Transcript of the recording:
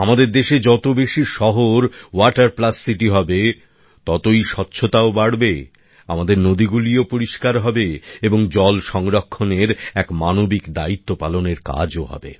আমাদের দেশে যত বেশি শহর ওয়াটার প্লাস সিটি হবে ততই স্বচ্ছতাও বাড়বে আমাদের নদীগুলিও পরিষ্কার হবে এবং জল সংরক্ষণের এক মানবিক দায়িত্ব পালনের কাজও হবে